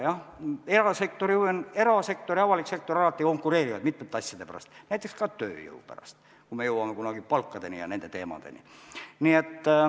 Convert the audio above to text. Jah, erasektor ja avalik sektor alati konkureerivad mitmete asjade pärast, näiteks ka tööjõu pärast, kui me jõuame kunagi palkadeni ja nende teemadeni.